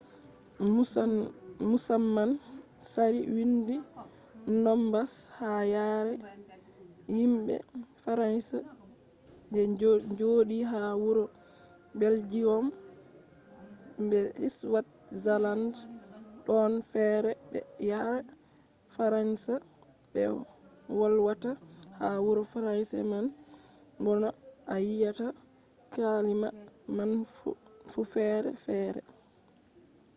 musamman tsari windi nombas ha yare himɓe faransa je joɗi ha wuro beljiyom be switzaland ɗon fere be yare faransa ɓe wolwata ha wuro fransa man bo no a wiyata kalima man fu fere fere